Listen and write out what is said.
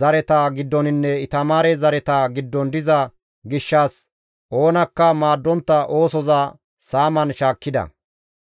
zareta giddoninne Itamaare zareta giddon diza gishshas oonakka maaddontta oosoza saaman shaakkida.